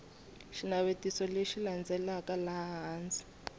xinavetiso lexi landzelaka laha hansi